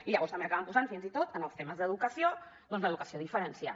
i llavors també acaben posant fins i tot en els temes d’educació doncs l’educació diferenciada